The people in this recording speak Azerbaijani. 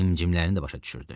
Himcimlərini də başa düşürdü.